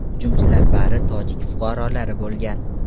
Hujumchilar bari tojik fuqarolari bo‘lgan.